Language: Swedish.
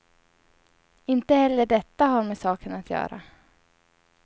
Inte heller detta har med saken att göra.